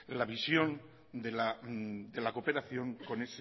la visión de la cooperación con